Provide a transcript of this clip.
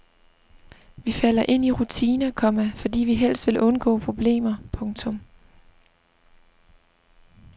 Vi falder ind i rutiner, komma fordi vi helst vil undgå problemer. punktum